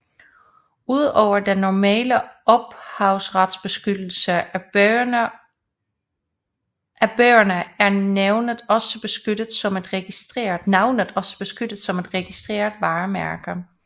Ud over den normale ophavsretsbeskyttelse af bøgerne er navnet også beskyttet som et registreret varemærke